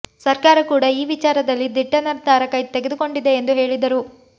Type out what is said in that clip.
ಸರ್ಕಾರ ಕೂಡ ಈ ವಿಚಾರದಲ್ಲಿ ದಿಟ್ಟ ನಿರ್ಧಾರ ತೆಗೆದುಕೊಂಡಿದೆ ಎಂದು ಹೇಳಿದರು